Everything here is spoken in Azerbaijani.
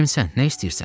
Kimsən, nə istəyirsən?